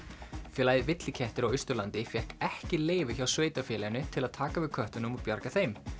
félagið villikettir á Austurlandi fékk ekki leyfi hjá sveitarfélaginu til að taka við köttunum og bjarga þeim